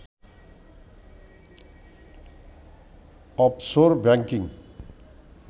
offshore banking